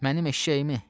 Mənim eşşəyimi!